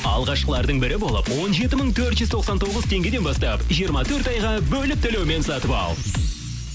алғашқылардың бірі болып он жеті мың төрт жүз тоқсан тоғыз теңгеден бастап жиырма төрт айға бөліп төлеумен сатып ал